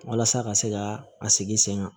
Walasa ka se ka a sigi sen kan